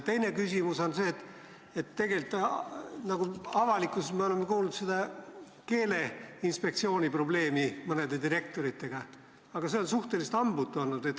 Teine küsimus on see, et avalikkuses me oleme kuulnud Keeleinspektsiooni probleemist mõne direktoriga, aga see tegevus on suhteliselt hambutu olnud.